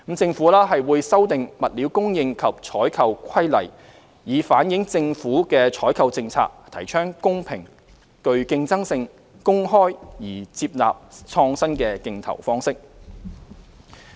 政府會修訂《物料供應及採購規例》，以反映政府採購政策提倡公平、具競爭性、公開而接納創新的競投方式。